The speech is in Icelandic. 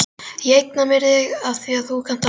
Ég eigna mér þig afþvíað þú kannt að hlusta.